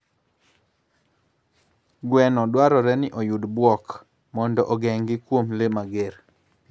Gweno dwarore ni oyud kar buok mondo ogeng'gi kuom le mager.